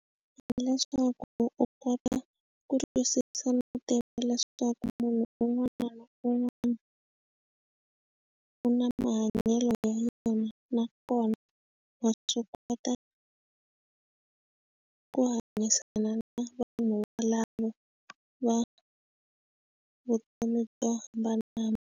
Hileswaku u kota ku twisisa no tiva leswaku munhu un'wana na un'wana u na mahanyelo ya yona na kona wa swi kota ku hanyisana na vanhu valavo va vutomi byo hambanahambana.